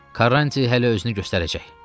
Karanti hələ özünü göstərəcək.